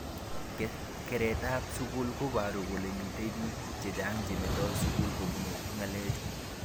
Keret ab sukul koboru kole mitei bik chechang chemetoi sukul kobun ng'alechu.